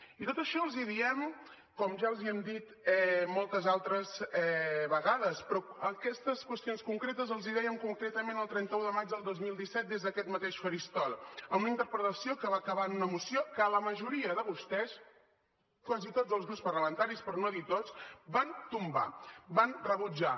i tot això els hi diem com ja els hi hem dit moltes altres vegades però aquestes qüestions concretes els hi dèiem concretament el trenta un de maig del dos mil disset des d’aquest mateix faristol en una interpel·lació que va acabar en una moció que la majoria de vostès quasi tots els grups parlamentaris per no dir tots van tombar van rebutjar